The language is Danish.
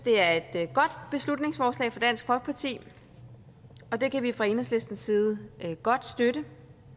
det er et godt beslutningsforslag fra dansk folkeparti og det kan vi fra enhedslistens side godt støtte